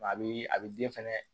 A bɛ a bɛ den fɛnɛ